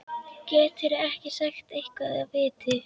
Geturðu ekki sagt eitthvað af viti?